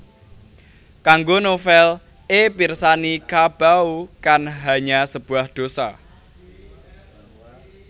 Kanggo novel é pirsani Ca Bau Kan Hanya Sebuah Dosa